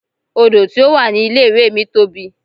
Odò tí ó wà ní ilé ìwé mi tóbi.